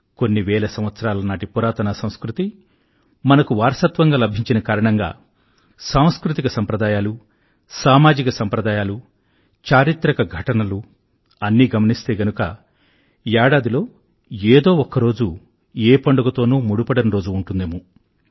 కొన్ని వేల సంవత్సరాల నాటి పురాతాన సంస్కృతి మనకు వారసత్వంగా లభించిన కారణంగా సాంస్కృతిక సంప్రదాయాలు సామజిక సంప్రదాయాలు చారిత్రక ఘటనలు అన్నీ గమనిస్తే గనుక ఏడాదిలో ఏదో ఒక్కరోజు ఏ పండుగతోనూ ముడిపడని రోజు ఉంటుందేమో